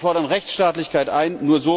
Wir fordern Rechtsstaatlichkeit ein.